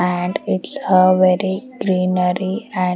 and it's have very greenery and --